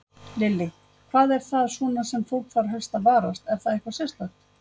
Lillý: Hvað er það svona sem fólk þarf helst að varast, er það eitthvað sérstakt?